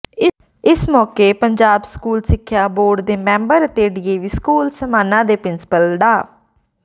ਇਸ ਮੌਕੇ ਪੰਜਾਬ ਸਕੂਲ ਸਿੱਖਿਆ ਬੋਰਡ ਦੇ ਮੈਂਬਰ ਅਤੇ ਡੀਏਵੀ ਸਕੂਲ ਸਮਾਣਾ ਦੇ ਪ੍ਰਿੰਸੀਪਲ ਡਾ